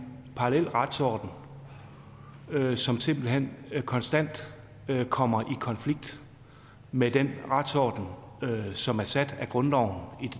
parallel retsorden som simpelt hen konstant kommer i konflikt med den retsorden som er sat af grundloven i